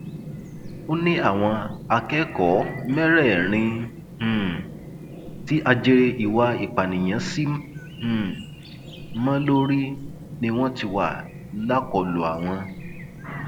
ó ní àwọn akẹkọọ mẹrẹẹrin um tí ajere ìwà ìpànìyàn sì um mọ lórí ni wọn ti wà lákọlò àwọn